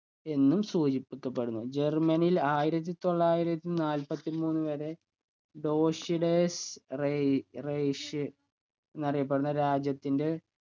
എന്നും സൂചിപ്പിക്കപ്പെടുന്നു ജർമ്മനിയിൽ ആയിരത്തി തള്ളായിരത്തി നാല്പത്തിമൂന്ന് വരെ ടോഷിടേയ്സ് റെയ് rich എന്നറിയപ്പെടുന്ന രാജ്യത്തിൻറെ